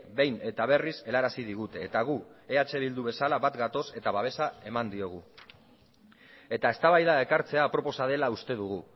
behin eta berriz helarazi digute eta gu eh bildu bezala bat gatoz eta babesa eman diogu eta eztabaida ekartzea aproposa dela uste dugu